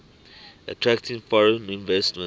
attracting foreign investment